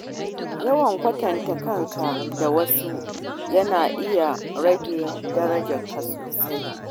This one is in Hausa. Yawan kwatanta kanka da wasu yana iya rage darajarka sosai.